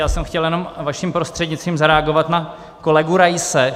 Já jsem chtěl jenom vaším prostřednictvím zareagovat na kolegu Raise.